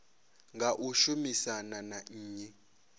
nga u shumisana na nnyi